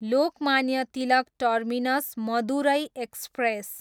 Lokmanya Tilak terminus, Madurai express